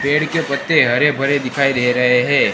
पेड़ के पत्ते हरे भरे दिखाई दे रहे है।